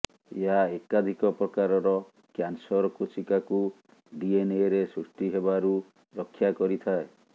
ଏହା ଏକାଧିକ ପ୍ରକାରର କ୍ୟାନସର୍ କୋଷିକାକୁ ଡିଏନ୍ଏରେ ସୃଷ୍ଟି ହେବାରୁ ରକ୍ଷା କରିଥାଏ